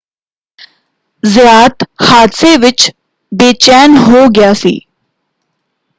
ਜ਼ਯਾਤ ਹਾਦਸੇ ਵਿੱਚ ਬੇਚੈਨ ਹੋ ਗਿਆ ਸੀ।